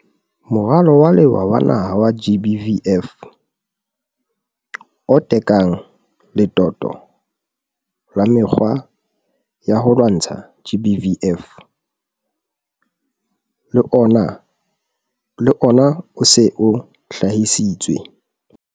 Moralo wa Lewa wa Naha wa GBVF, o tekang letoto la mekgwa ya ho lwantsha GBVF, le ona o se o hlahisitswe.